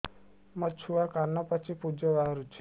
ମୋ ଛୁଆ କାନ ପାଚି ପୂଜ ବାହାରୁଚି